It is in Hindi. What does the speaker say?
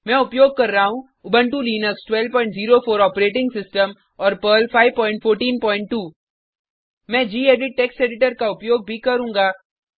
मैं उपयोग कर रहा हूँ उबंटु लिनक्स 1204 ऑपरेटिंग सिस्टम और पर्ल 5142 मैं गेडिट टेक्स्ट एडिटर का उपयोग भी करुँगा